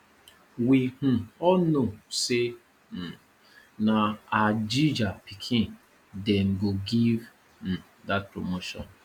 we um all know say um na hajiya pikin dem go give um dat promotion